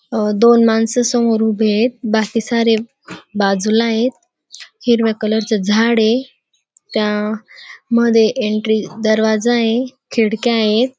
दोन माणसं समोर उभी येत बाकी सारे बाजूला येत हिरव्या कलर चे झाड ये त्या मध्ये एन्ट्री दरवाजा ये खिडक्या येत.